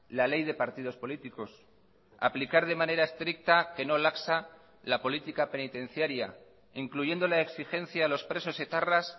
la ley de partidos políticos aplicar de manera estricta que no laxa la política penitenciaria incluyendo la exigencia a los presos etarras